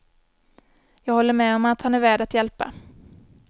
Jag håller med om att han är värd att hjälpa.